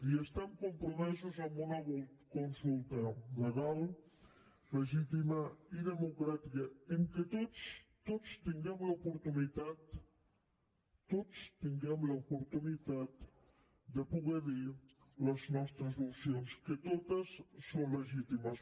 i estem compromesos amb una consulta legal legítima i democràtica en què tots tots tinguem l’oportunitat tots tinguem l’oportunitat de poder dir les nostres opcions que totes són legítimes